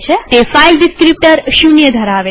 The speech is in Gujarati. તે ફાઈલ ડીસ્ક્રીપ્ટર ૦ ધરાવે છે